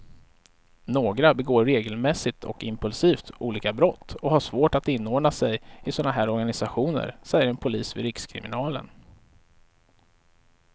Några begår regelmässigt och impulsivt olika brott och har svårt att inordna sig i såna här organisationer, säger en polis vid rikskriminalen.